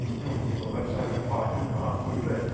ну типа большая компания ахуй блять